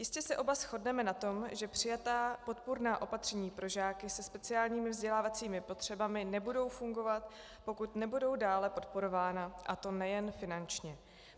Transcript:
Jistě se oba shodneme na tom, že přijatá podpůrná opatření pro žáky se speciálními vzdělávacími potřebami nebudou fungovat, pokud nebudou dále podporována, a to nejen finančně.